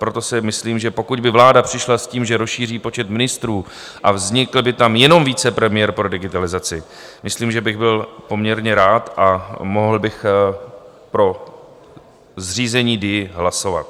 Proto si myslím, že pokud by vláda přišla s tím, že rozšíří počet ministrů, a vznikl by tam jenom vicepremiér pro digitalizaci, myslím, že bych byl poměrně rád a mohl bych pro zřízení DIA hlasovat.